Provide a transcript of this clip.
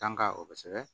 Kan ka o kosɛbɛ